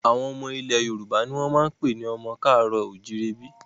Àwọn ọmọ ilẹ̀ Yorùbá ni wọ́n ń pè ní ọmọ ká àárọ̀ o ò jíire bí